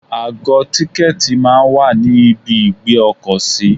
2Àgọ tìkẹ̀tí máa ń wà ní ibi ìgbé ọkọ̀ sí.